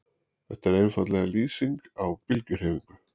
Þetta er einfaldlega lýsing á bylgjuhreyfingu.